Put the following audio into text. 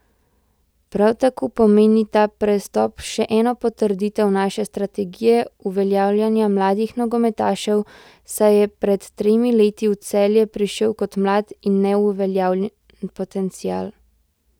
Prav tako pomeni ta prestop še eno potrditev naše strategije uveljavljanja mladih nogometašev, saj je pred tremi leti v Celje prišel kot mlad in neuveljavljen potencial.